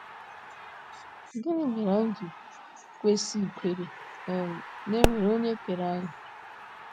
Gịnị mere anyị ji kwesị ikwere um na e nwere onye kere anyị?